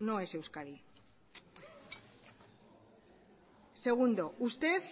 no es euskadi segundo usted